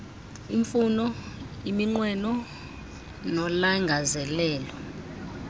iimfuno iminqweno nolangazelelo